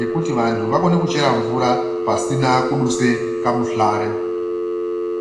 yekuti vantu vakone kuchera mvura pasina kuduse kamuhlare.